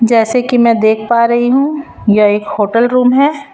जैसे कि मैं देख पा रही हूं यह एक होटल रूम है।